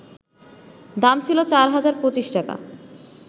দাম ছিল ৪ হাজার ২৫ টাকা